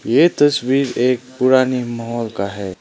ये तस्वीर एक पुरानी महल का है।